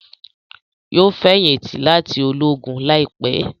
Yóò feyinti láti Ológùn láìpé